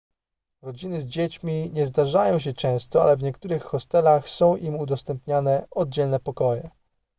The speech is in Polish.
rodziny z dziećmi nie zdarzają się często ale w niektórych hostelach są im udostępniane oddzielne pokoje